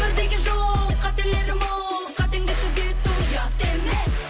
өмір деген жол қателері мол қатеңді түзету ұят емес